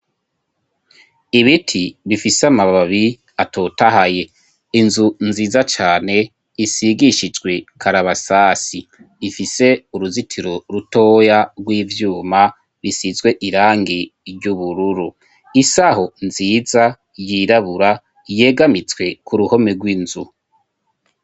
ibiti bifise amababi atotahaye inzu nziza cane isigishijwe karabasasi ifise uruzitiro rutoya rw'ivyuma bisizwe irangi ry'ubururu isaho nziza yirabura yegamitswe ku ruhome rw'inzu.